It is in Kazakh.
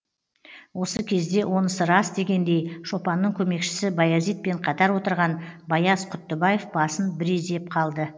осы кезде онысы рас дегендей шопанның көмекшісі баязитпен қатар отырған баяз құттыбаев басын бір изеп қалды